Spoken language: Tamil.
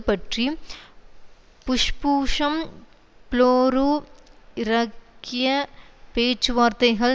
பற்றி புஷ்பூஷம் ப்ளோரு இரக்கிய பேச்சுவார்த்தைகள்